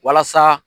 Walasa